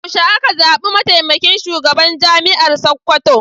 Yaushe aka zaɓi mataimakin shugaban Jami'ar Sakkwato?